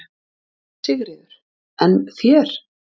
Sigríður: En þér?